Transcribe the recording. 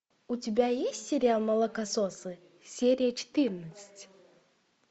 у тебя есть сериал молокососы серия четырнадцать